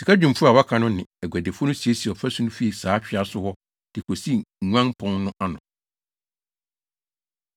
Sikadwumfo a wɔaka no ne aguadifo no siesiee ɔfasu no fii saa twea so hɔ de kosii Nguan Pon no ano.